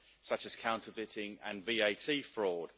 such as counterfeiting and VAT fraud.